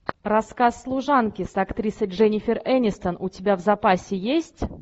рассказ служанки с актрисой дженнифер энистон у тебя в запасе есть